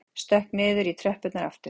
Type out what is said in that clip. Stökk niður í tröppurnar aftur.